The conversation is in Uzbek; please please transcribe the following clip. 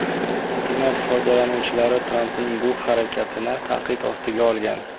Internet foydalanuvchilari Trampning bu harakatini tanqid ostiga olgan.